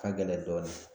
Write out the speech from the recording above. Ka gɛlɛn dɔɔnin